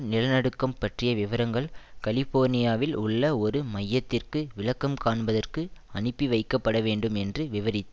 நிலநடுக்கம் பற்றிய விவரங்கள் கலிபோர்னியாவில் உள்ள ஒரு மையத்திற்கு விளக்கம் காண்பதற்கு அனுப்பி வைக்கப்படவேண்டும் என்று விவரித்தார்